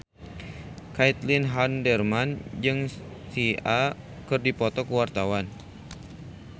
Caitlin Halderman jeung Sia keur dipoto ku wartawan